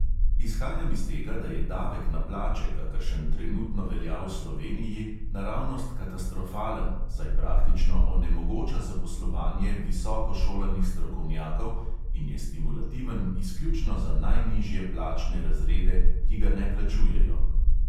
Izhajam iz tega, da je davek na plače, kakršen trenutno velja v sloveniji, naravnost katastrofalen, saj praktično onemogoča zaposlovanje visoko šolanih strokovnjakov in je stimulativen izključno za najnižje plačne razrede, ki ga ne plačujejo.